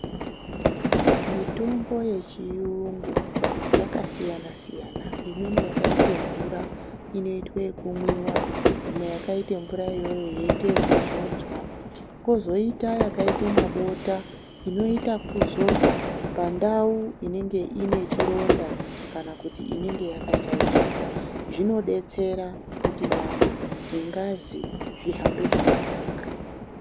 Mitombo yechiyungu yakasiyana siyana, imweni yakaite mvura inoitwa yekumwiwa, imwe yakaita mvura iyoyo yoitwa yekuzodzwa. Kozoita yakaite mabota, inoita yekuzorwa pandau inenga ine chironda kana kuti inenga yakashaishika. Zvinodetsera kuti nyama nengazi zvihambe zvakanaka.